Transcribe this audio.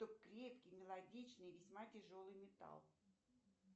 крепкий мелодичный весьма тяжелый металл